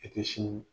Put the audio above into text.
I tɛ si